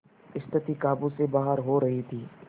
स्थिति काबू से बाहर हो रही थी